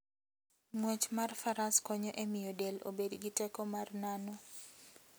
Ng'wech mar Faras konyo e miyo del obed gi teko mar nano.